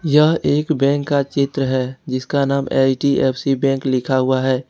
यह एक बैंक का चित्र है जिसका नाम एच_डी_एफ_सी बैंक लिखा हुआ है।